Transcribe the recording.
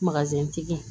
tigi